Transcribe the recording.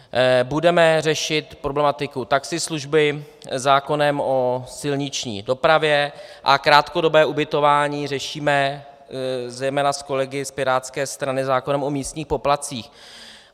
Budeme řešit problematiku taxislužby zákonem o silniční dopravě a krátkodobé ubytování řešíme zejména s kolegy z pirátské strany zákonem o místních poplatcích.